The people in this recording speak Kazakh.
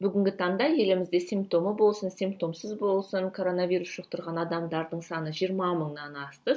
бүгінгі таңда елімізде симптомы болсын симптомсыз болсын короновирус жұқтырған адамдардың саны жиырма мыңнан асты